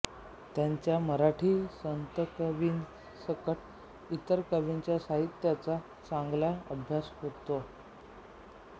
त्यांचा मराठी संतकवींसकट इतर कवींच्या साहित्याचा चांगला अभ्यास होता